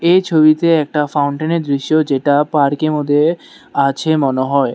এ ছবিতে একটা ফাউন্টেন এর দৃশ্য যেটা পার্ক এর মধ্যে আছে মনে হয়।